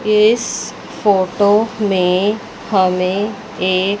इस फोटो में हमें एक--